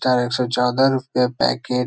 एक सौ चौदह रूपए पैकेट --